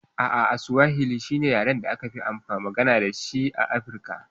A'a Suwahili shine yaren da akafi magana dashi a Afirka.